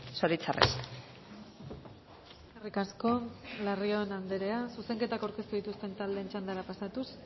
zoritxarrez eskerrik asko larrion andrea zuzenketak aurkeztu dituzten taldeen txandara pasatuz